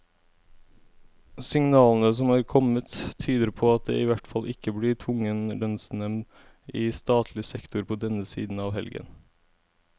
Signalene som er kommet, tyder på at det i hvert fall ikke blir tvungen lønnsnevnd i statlig sektor på denne siden av helgen.